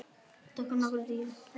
Tökum nokkrar dýfur!